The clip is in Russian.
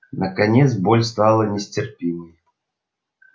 наконец боль стала нестерпимой